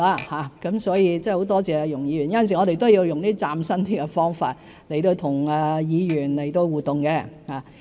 很多謝容議員，有時候我們也需要用比較嶄新的方法跟議員互動。